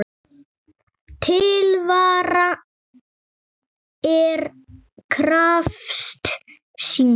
Til vara er krafist sýknu.